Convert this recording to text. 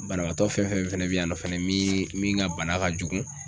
Banabaatɔ fɛn fɛn fɛnɛ be yen nɔ fɛnɛ min min ka bana ka jugu